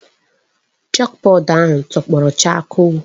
Chọkbọọdụ ahụ tọgbọ chakoo.